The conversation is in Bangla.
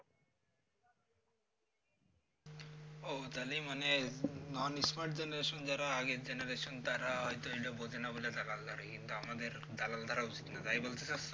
ও তাহলে মানে non smart generation যারা আগে generation তারা হয়তো এইটা বোঝেনা বলে দালাল ধরে কিন্তু আমাদের দালাল ধরা উচিত না তাই বলতে চাইছো